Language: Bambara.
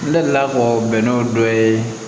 N delila ka fɔ bɛnɛw dɔ ye